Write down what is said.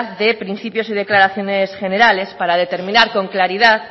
de principios y declaraciones generales para determinar con claridad